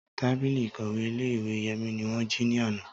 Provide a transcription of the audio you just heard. Tábìlì ìkọ̀wé ìle-ìwe Yemi ni wọn ji ni ana.